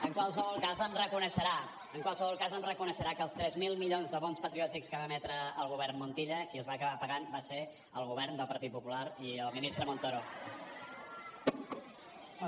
en qualsevol cas em reconeixerà que els tres mil milions de bons patriòtics que va emetre el govern montilla qui els va acabar pagant va ser el govern del partit popular i el ministre montoro